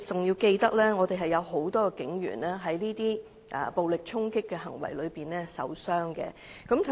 要記住，有很多警員在這些暴力衝突中受傷。